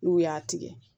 N'u y'a tigɛ